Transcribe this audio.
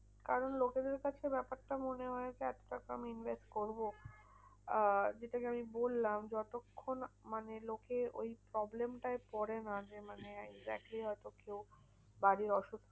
কারণ লোকেদের কাছে ব্যাপারটা মনে হয়েছে এত টাকা আমি invest করবো? আহ যেটাই আমি বললাম যতক্ষণ মানে লোকে ওই problem টায় পরে না যে মানে exactly হয়তো কেউ বাড়ির অসুখ